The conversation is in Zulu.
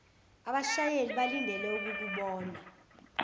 abashayeli balindele ukukubona